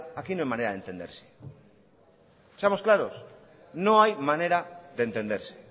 aquí no hay manera de entenderse seamos claros no hay manera de entenderse